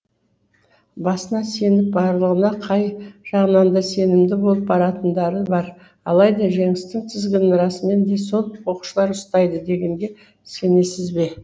басына сеніп барлығына қай жағынан да сенімді болып баратындары бар алайда жеңістің тізгінін расымен де сол оқушылар ұстайды дегенге сенесіз бе